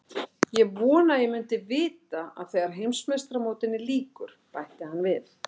Ég vona að ég muni vita að þegar Heimsmeistaramótinu lýkur, bætti hann við.